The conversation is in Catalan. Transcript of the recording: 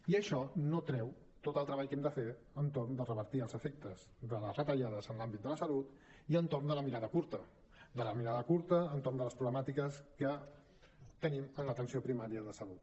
i això no treu tot el treball que hem de fer entorn de revertir els efectes de les retallades en l’àmbit de la salut i entorn de la mirada curta de la mirada curta entorn de les problemàtiques que tenim en l’atenció primària de salut